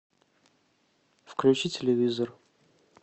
включи телевизор